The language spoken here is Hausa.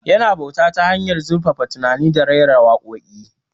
Yana bauta ta hanyar zurfaffen tunani da rera waƙoƙi